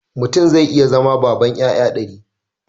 Mutum zai iya zama banan 'ya'ya dari